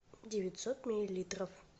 девятьсот миллилитров